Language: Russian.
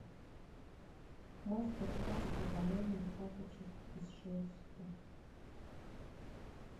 мастер класс по валянию тапочек из шерсти